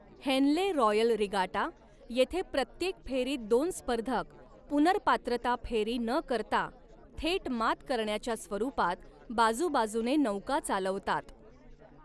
Henley Royal Regatta येथे प्रत्येक फेरीत दोन स्पर्धक, पुनर्पात्रता फेरी न करता थेट मात करण्याच्या स्वरूपात, बाजूबाजूने नौका चालवतात.